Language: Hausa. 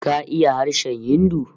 KA iya harshen Hindu?